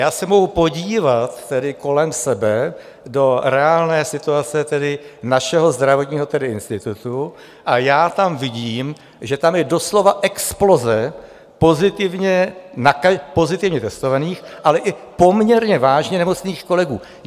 Já se mohu podívat kolem sebe do reálné situace našeho zdravotního institutu a já tam vidím, že tam je doslova exploze pozitivně testovaných, ale i poměrně vážně nemocných kolegů.